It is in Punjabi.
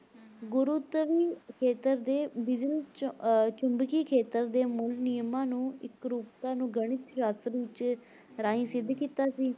ਗੁਰੂਤਵੀ ਖੇਤਰ ਤੇ ਬਿਜਲ ਚ~ ਅਹ ਚੁੰਬਕੀ ਖੇਤਰ ਦੇ ਮੂਲ ਨਿਯਮਾਂ ਨੂੰ ਇਕਰੂਪਤਾ ਨੂੰ ਗਣਿਤ ਸ਼ਾਸ਼ਤਰ ਵਿੱਚ ਰਾਹੀਂ ਸਿੱਧ ਕੀਤਾ ਸੀ।